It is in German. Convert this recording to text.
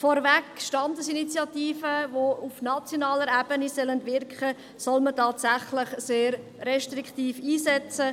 Vorweg: Standesinitiativen, die auf nationaler Ebene wirken sollen, soll man tatsächlich sehr restriktiv einsetzen.